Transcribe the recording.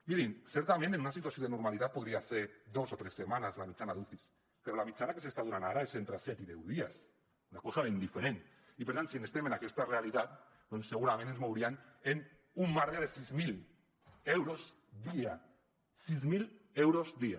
mirin certament en una situació de normalitat podria ser dos o tres setmanes la mitjana d’ucis però la mitjana que s’està donant ara és entre set i deu dies una cosa ben diferent i per tant si estem en aquesta realitat doncs segurament ens mouríem en un marge de sis mil euros dia sis mil euros dia